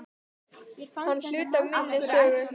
Hann er hluti af minni sögu.